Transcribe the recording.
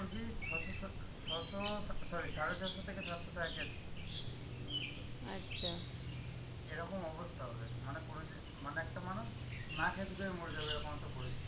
মুরগি ছ’শ সত্ত~ অ্যাঁ ছ’শ, so~ sorry সাড়ে ছ’শ থেকে সাতশ টাকা KG যেরকম অবস্থা ওদের, মানে কোরজিন~ মানে একটা মানুষ না খেতে পেয়ে মরে যাবে, এরকম একটা পরিস্থিতি